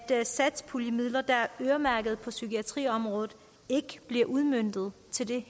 satspuljemidler der er øremærket på psykiatriområdet ikke bliver udmøntet til det